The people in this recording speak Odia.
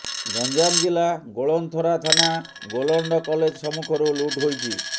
ଗଞ୍ଜାମ ଜିଲ୍ଲା ଗୋଳନ୍ଥରା ଥାନା ରୋଲଣ୍ଡ କଲେଜ ସମ୍ମୁଖରୁ ଲୁଟ୍ ହୋଇଛି